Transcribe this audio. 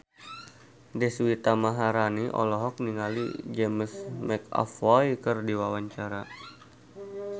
Deswita Maharani olohok ningali James McAvoy keur diwawancara